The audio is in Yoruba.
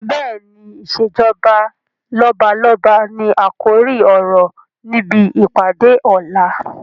Bẹ́ẹ̀ni, "ìsèjọba lọ́balọ́ba ni àkòrí ọ̀rọ̀ níbi ìpàdé ọ̀la